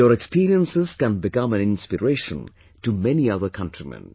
Your experiences can become an inspiration to many other countrymen